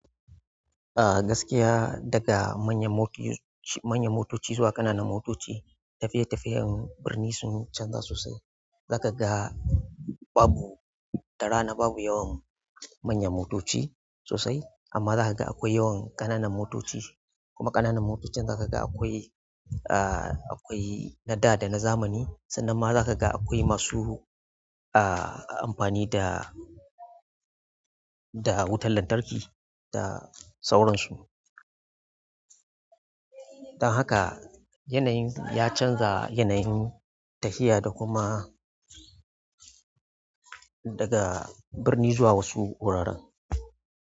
Ah gaskiya daga manyan motoci zuwa ƙananan motoci, tafiye-tafiyen birni sun canza sosai. Zaka ga babu, da rana babu yawan manyan motoci sosai amma zaka ga akwai yawan ƙananan motoci. Kuma ƙananan motocin zaka ga akwai, akwai na da da na zamani sannan ma zaka ga akwai masu amfani da, da wutar lantarki da sauransu. Don haka yanayin ya canza yanayin tafiya da kuma daga birni zuwa wasu wuraren.